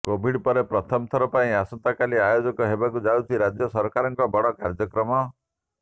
Covid ପରେ ପ୍ରଥମ ଥର ପାଇଁ ଆସନ୍ତାକାଲି ଆୟୋଜନ ହେବାକୁ ଯାଉଛି ରାଜ୍ୟ ସରକାରଙ୍କ ବଡ଼ କାର୍ଯ୍ୟକ୍ରମ